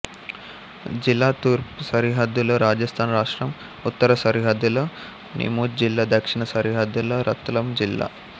జిలా తూర్పు సరిహద్దులో రాజస్థాన్ రాష్ట్రం ఉత్తర సరిహద్దులో నీముచ్ జిల్లా దక్షిణ సరిహద్దులో రత్లాం జిల్లా